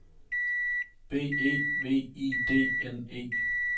B E V I D N E